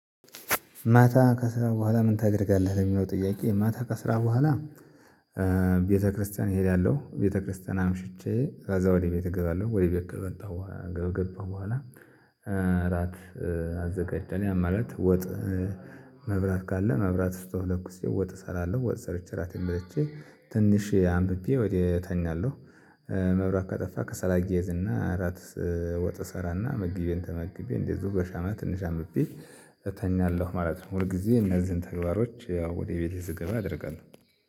ማታ ከስራ በኋላ ምን ታደርጋለህ? ለሚለው ጥያቄ ማታ ከስራ በኋላ። ቤተክርስቲያን እሄዳለሁ ቤተክርስቲያን አምሽቼ ከዛ ወደ ቤት እገባለሁ። ወይ ቤት ከመጣው በኋላ ከገባው በኋላ። እራት አዘጋጀን ያን ማለት ወጥ። መብራት ካለ መብራት ስቶቭ ለኩሴ ወጥ እሰራለሁ ወጥ ሰርቼ እራቴን በልቼ ትንሽ አንብቤ ወዲያ እተኛለሁ። መብራት ከጠፋ ከሰል አያይዝና እራት ወጥ እሰራና ምግቤን ተመግቤ እንደዚሁ በሻማ ትንሽ አምብቤ እተኛለሁ ማለት ነው። ሁል ጊዜ እነዚህን ተግባሮች ያው ወደ ቤቴ ስገባ አደርጋለሁ